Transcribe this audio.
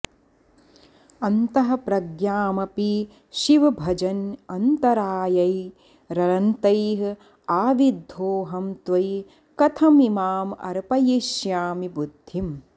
अन्तः प्रज्ञामपि शिव भजन्नन्तरायैरनन्तैः आविद्धोऽहं त्वयि कथमिमामर्पयिष्यामि बुद्धिम्